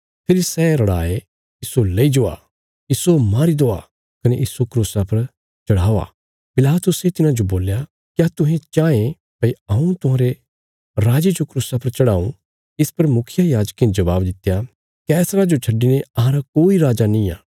फेरी सै रड़ाये इस्सो लेई जावा इस्सो मारी देवा कने इस्सो क्रूसा पर चढ़ाओ पिलातुसे तिन्हांजो बोल्या क्या तुहें चाँह ये भई हऊँ तुहांरे राजे जो क्रूसा पर चढ़ाऊं इस पर मुखियायाजकें जबाब दित्या कैसरा जो छड्डिने अहांरा कोई दुज्जा राजा निआं